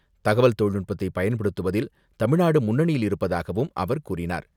தகவல் தொழில்நுட்பத்தை பயன்படுத்துவதில் தமிழ்நாடு முன்னணியில் இருப்பதாகவும் அவர் கூறினார்.